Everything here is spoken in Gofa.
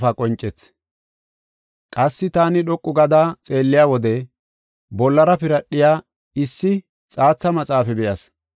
Qassi taani dhoqu gada xeelliya wode bollara piradhiya issi xaatha maxaafa be7as.